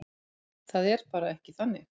Það er bara ekki þannig.